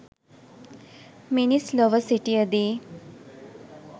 මිනිස් ලොව සිටියදී